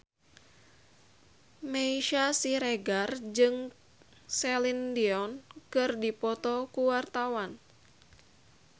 Meisya Siregar jeung Celine Dion keur dipoto ku wartawan